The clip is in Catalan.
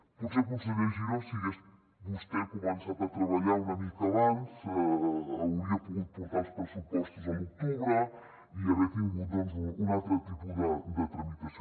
potser conseller giró si hagués vostè començat a treballar una mica abans hauria pogut portar els pressupostos a l’octubre i haver tingut un altre tipus de tramitació